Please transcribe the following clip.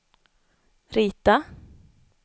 rita